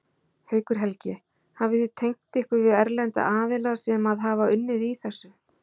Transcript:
Haukur Helgi: Hafið þið tengt ykkur við erlenda aðila sem að hafa unnið í þessu?